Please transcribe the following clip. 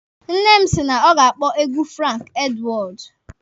Nne m si na ọ ga-akpọ egwu Franki Edwọọdu.